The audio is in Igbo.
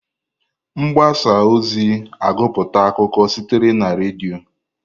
Mgbasa ozi agụputa akụkọ sitere na redio.